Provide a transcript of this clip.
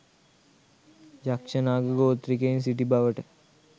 යක්ෂ, නාග ගෝත්‍රිකයන් සිටි බවට